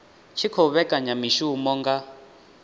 tshi khou vhekanya mishumo nga